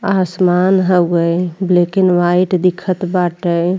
आसमान हउवे black and white दिखत बाटे।